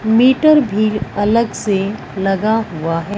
Metre भी अलग से लगा हुआ है।